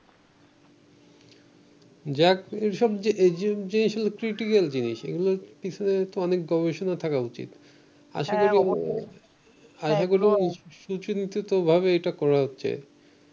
জাতীয় সব্ যে এসব জিনিস হচ্ছে critical জিনিস, এগুলার পিছনে তো অনেক গবেষণা থাকা উচিৎ আশাকরি আশাকরি সুচিন্তিতভাবে এটা করা হচ্ছে